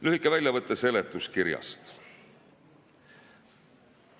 Lühike väljavõte seletuskirjast.